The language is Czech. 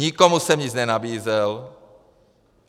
Nikomu jsem nic nenabízel.